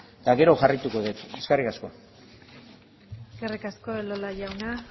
eta gero jarraituko det eskerrik asko eskerrik asko elola jauna